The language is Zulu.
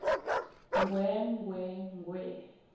ngwee ngwee ngwee